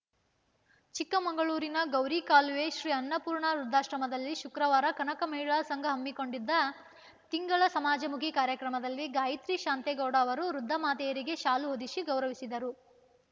ಚಿಕ್ಕಮಗಳೂರಿನವ ಗೌರಿಕಾಲುವೆ ಶ್ರೀ ಅನ್ನಪೂರ್ಣ ವೃದ್ಧಾಶ್ರಮದಲ್ಲಿ ಶುಕ್ರವಾರ ಕನಕ ಮಹಿಳಾ ಸಂಘ ಹಮ್ಮಿಕೊಂಡಿದ್ದ ತಿಂಗಳ ಸಮಾಜಮುಖಿ ಕಾರ್ಯಕ್ರಮದಲ್ಲಿ ಗಾಯತ್ರಿ ಶಾಂತೇಗೌಡ ಅವರು ವೃದ್ಧಮಾತೆಯರಿಗೆ ಶಾಲು ಹೊದಿಸಿ ಗೌರವಿಸಿದರು